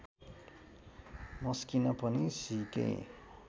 मस्किन पनि सिकेँ